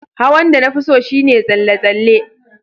Hawan da na fi so shine tsalle-tsalle.